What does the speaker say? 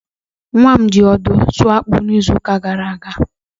Nwa m nwoke ji ọdụ sụọ akpụ n'izuuka gara aga.